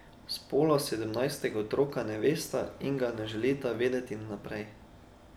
Spola sedemnajstega otroka ne vesta in ga ne želita vedeti vnaprej.